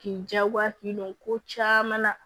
K'i jagoya k'i don ko caman na